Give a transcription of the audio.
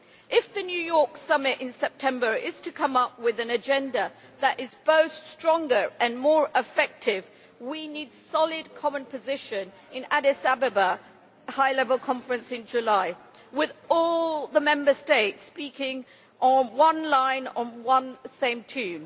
If the New York Summit in September is to come up with an agenda that is both stronger and more effective, we need a solid common position in the Addis Ababa high level conference in July, with all the Member States speaking on one line, to the same tune.